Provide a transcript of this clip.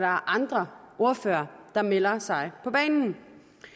andre ordførere der melder sig på banen